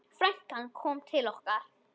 Frænkan kom til okkar.